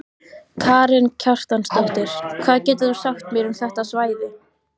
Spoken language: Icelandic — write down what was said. Karen Kjartansdóttir: Hvað getur þú sagt mér um þetta svæði?